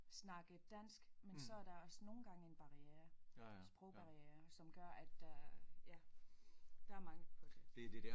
Snakke dansk men så er der også nogle gange en barriere sprogbarriere som gør at der ja der er mangel på det